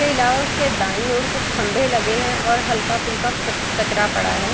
इसके अलावा उसके दाएं और कुछ खम्बे लगे हैं और हल्का फुल्का कचरा पड़ा है |